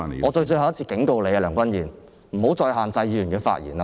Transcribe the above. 我最後一次警告你，梁君彥，不要再限制議員的發言。